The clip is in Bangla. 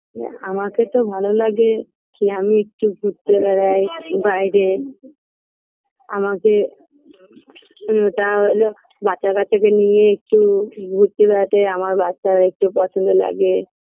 ওম আমাকে তো ভালো লাগে যে আমি একটু ঘুরতে বেড়াই বাইরে আমাকে উ তা হল বাচ্চাকাচ্চাদের নিয়ে একটু ঘুরতে বেড়াতে আমার বাচ্চারও একটু পছন্দ লাগে